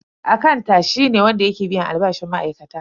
Akanta shi ne wanda yake biyan albashin ma'aikata.